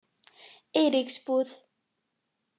Eiríksbúð